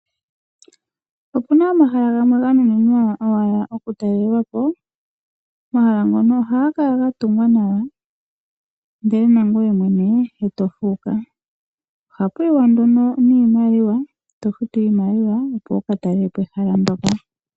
Opena omahala gamwe ganuninwa owala oku talelwapo. Omahala ngono ohaga kala gatungwa nawa ndele nangweye mwene tofuuka , ohapu yiwa nduno niimaliwa tofutu iimaliwa opo wuka talelepo ehala ndoka.